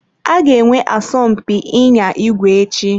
A ga-enwe asọmpi ịnya igwe echi.